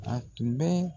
A tun bɛ